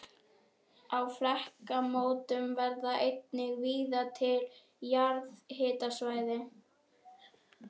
Á flekamótum verða einnig víða til jarðhitasvæði.